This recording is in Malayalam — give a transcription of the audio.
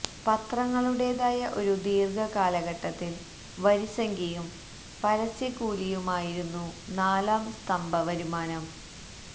പത്രങ്ങളുടേതായ ഒരു ദീർഘ കാലഘട്ടത്തിൽ വരിസംഖ്യയും പരസ്യക്കൂലിയുമായിരുന്നു നാലാം സ്തംഭ വരുമാനം